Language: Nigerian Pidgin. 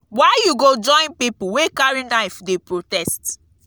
why you go join pipu wey carry knife dey protest?